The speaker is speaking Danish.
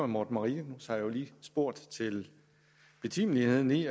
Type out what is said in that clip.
morten marinus har jo lige spurgt til betimeligheden i